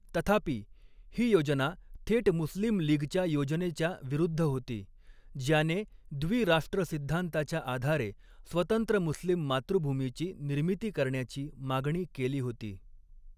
तथापि, ही योजना थेट मुस्लीम लीगच्या योजनेच्या विरुद्ध होती, ज्याने द्वि राष्ट्र सिद्धांताच्या आधारे स्वतंत्र मुस्लिम मातृभूमीची निर्मिती करण्याची मागणी केली होती.